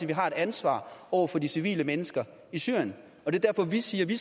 vi har et ansvar over for de civile mennesker i syrien det er derfor vi siger at vi